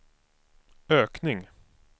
ökning